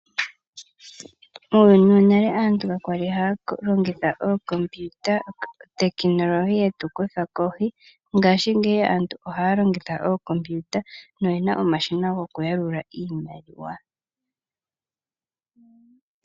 Muuyuni wonale aantu kaya li haya longitha ookompiyuta, otekinolohi yetu kutha kohi. Ngashingeyi aantu ohaya longitha ookompiyuta na oyena omashina goku yalula iimaliwa.